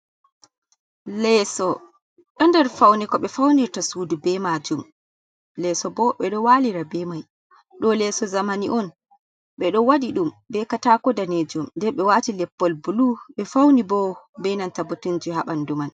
Leso do nder faune ko ɓe faunirta suudu be majum, leso bo ɓe ɗo walira be mai, do leso zamani on ɓe ɗo wadi ɗum be katako danejum, nden ɓe wati leppol bulu be fauni bo be nanta botinji ha ɓandu man.